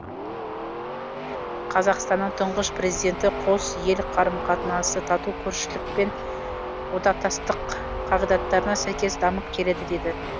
қазақстанның тұңғыш президенті қос ел қарым қатынасы тату көршілік пен одақтастық қағидаттарына сәйкес дамып келеді деді